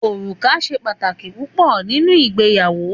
Òrùka ṣe pàtàkì púpọ nínú ìgbéyàwó